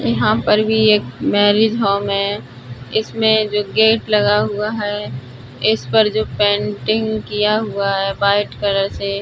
यहां पर भी एक मैरिज होम है। इसमें जो गेट लगा हुआ है इसपर जो पेंटिंग किया हुआ है व्हाइट कलर से --